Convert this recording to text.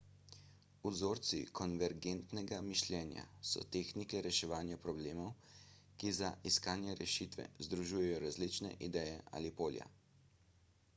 vzorci konvergentnega mišljenja so tehnike reševanja problemov ki za iskanje rešitve združujejo različne ideje ali polja